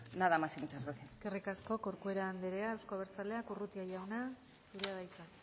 nada más y muchas gracias eskerrik asko corcuera andrea eusko abertzaleak urrutia jauna zurea da hitza